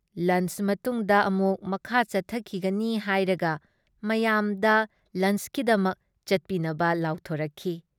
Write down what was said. Lunch ꯃꯇꯨꯡꯗ ꯑꯃꯨꯛ ꯃꯈꯥ ꯆꯠꯊꯈꯤꯒꯅꯤ ꯍꯥꯏꯔꯒ ꯃꯌꯥꯝꯗ ꯂꯟꯆꯀꯤꯗꯃꯛ ꯆꯠꯄꯤꯅꯕ ꯂꯥꯎꯊꯣꯛꯔꯛꯈꯤ ꯫